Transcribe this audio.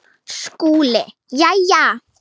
SKÚLI: Jæja!